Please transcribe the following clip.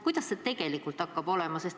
Kuidas see tegelikult hakkab olema?